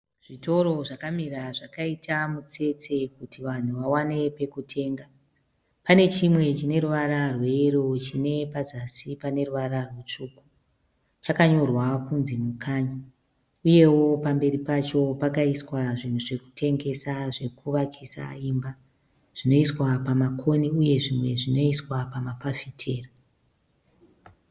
Zvitoro zvakamira zvakaita mutsetse kuti vanhu vawane pekutenga. Pane chimwe chine ruvara rweyero chine pazasi paneruvara rwutsvuku chakanyorwa kunzi Mukanya. Uyewo pamberi pacho pakaiswa zvinhu zvekutengesa zvekuvakisa imba zvinoiswa pamakona uyewo zvimwe zvinoiswa pamafafitera .